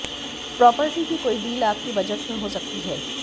property की कोई deal आपके बजट में हो सकती है